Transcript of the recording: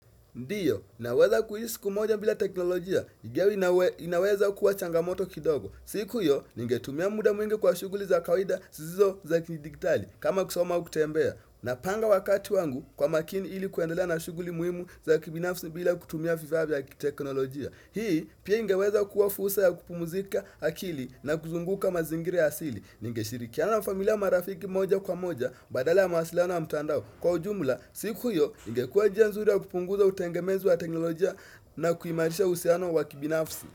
Ndiyo, naweza kuhishi siku moja bila teknolojia. Ingawa inaweza kuwa changamoto kidogo. Siku hiyo, ningetumia muda mwingi kwa shughuli za kawaida sizo za kijidigitali. Kama kusoma kutembea. Napanga wakati wangu kwa makini ili kuendelea na shughuli muhimu za kibinafsi bila kutumia vifaa vya teknolojia. Hii, pia ingeweza kuwa fursa ya kupumzika akili na kuzunguka mazingira ya asili. Ningeshirikiana na familia marafiki moja kwa moja badala ya mawasiliano ya mtandao Kwa ujumula, siku hiyo, ingekua njia nzuri ya kupunguza utengemezu wa teknolojia na kuimarisha uhusiano wa kibinafsi.